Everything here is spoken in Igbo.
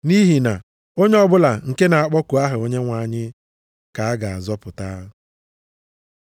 Nʼihi na, “Onye ọbụla nke na-akpọku aha Onyenwe anyị, ka a ga-azọpụta.” + 10:13 \+xt Jul 2:32\+xt*